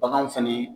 Baganw fɛnɛ